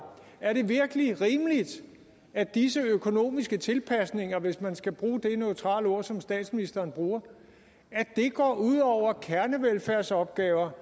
er det virkelig rimeligt at disse økonomiske tilpasninger hvis man skal bruge det neutrale ord som statsministeren bruger går ud over kernevelfærdsopgaver